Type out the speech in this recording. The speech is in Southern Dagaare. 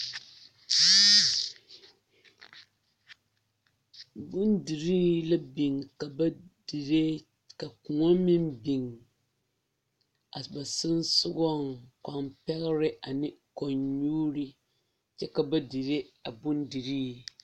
Bondirii la biŋ ka ba dire ka kõɔ meŋ biŋ a ba sensɔgaŋ kõɔ pɛgre ne kõɔ nyuuri kyɛ ka ba dire a bondirii.